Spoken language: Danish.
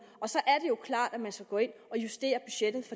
så er det jo klart at man skal gå ind og justere budgettet